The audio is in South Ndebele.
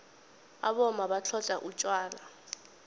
abomma batlhodlha utjwala